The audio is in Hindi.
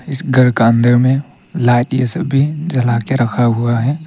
इस घर का अंदर में लाइट ये सभी जला के रखा हुआ है।